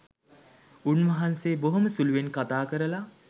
උන්වහන්සේ බොහොම සුළුවෙන් කතා කරලා